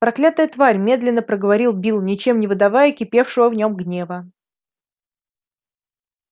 проклятая тварь медленно проговорил билл ничем не выдавая кипевшего в нём гнева